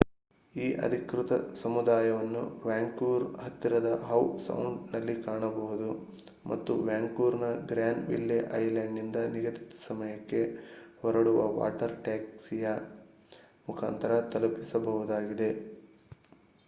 ಈ ಅಧಿಕೃತ ಸಮುದಾಯವನ್ನು ವ್ಯಾಂಕೂವರ್ ಹತ್ತಿರದ ಹವ್ ಸೌಂಡ್ ನಲ್ಲಿ ಕಾಣಬಹುದು ಮತ್ತು ವ್ಯಾಂಕೂವರ್ನ ಗ್ರ್ಯಾನ್ ವಿಲ್ಲೆ ಐಲಾಂಡ್ನಿಂದ ನಿಗದಿತ ಸಮಯಕ್ಕೆ ಹೊರಡುವ ವಾಟರ್ ಟ್ಯಾಕ್ಸಿಯ ಮುಖಾಂತರ ತಲುಪಬಹುದಾಗಿದೆ